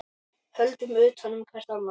Höldum utan um hvert annað.